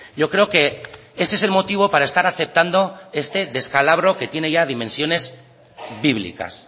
yo creo que ese es el motivo para estar aceptando este descalabro que tiene ya dimensiones bíblicas